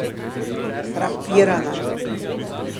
Frapirana.